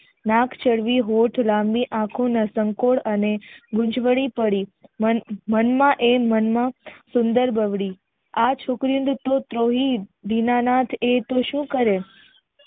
વાંક હોઠ લાંબી આખો ને સંકોચ અને મુંજવાણી પડી મન માં એ મન માં સુંદર ગગડી આ છોકરી ટ્રીણી દીનાનાથ એ તો સુ કરે